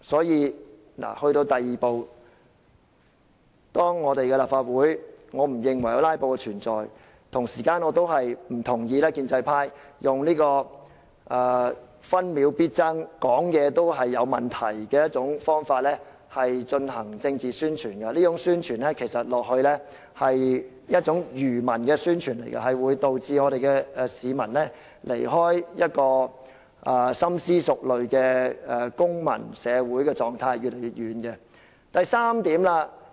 因此，對於第二步，由於我不認為我們的立法會有"拉布"的存在，我不同意建制派以"分秒必爭"這口號、好像議員說話也有問題的方法進行政治宣傳，這是一種愚民的宣傳，會導致市民與深思熟慮的公民社會狀態離開得越來越遠。